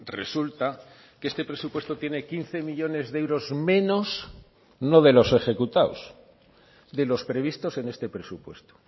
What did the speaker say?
resulta que este presupuesto tiene quince millónes de euros menos no de los ejecutados de los previstos en este presupuesto